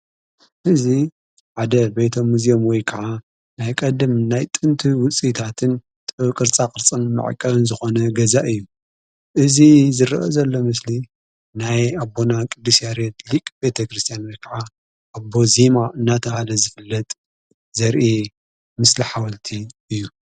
እዙ ዓደ ቤቶ ሙዜኦምወይ ከዓ ናይ ቐድም ናይ ጥንቱ ውፂይታትን ጥበብ ቕርጻ ቕርጽን መዐቀን ዝኾነ ገዛ እዩ። እዝ ዝርአ ዘሎ ምስሊ ናይ ኣቦና ቅዱስ ያሬት ሊቕ ቤተ ክርስቲያን ወይ ከዓ ኣቦ ዚማ እናታበሃለ ዝፍለጥ ዘርአ ምስሊ ሓወልቲ እዩ።